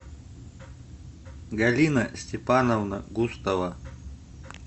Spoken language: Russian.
галина степановна густова